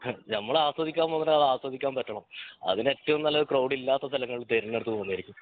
അഹ് ഞമ്മള് ആസ്വദിക്കാൻ പറ്റണം അതിനേറ്റവും നല്ലത് ക്രൗഡ് ഇല്ലാത്ത അസ്ഥലങ്ങൾ തിരഞ്ഞെടുത്ത് പോകുന്നതായിരിക്കും